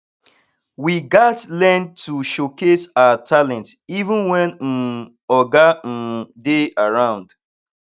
we gats learn to showcase our talents even wen um oga um dey around